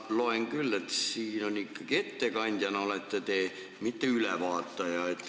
Ma loen siit küll, et te olete ikkagi ettekandja, mitte ülevaataja.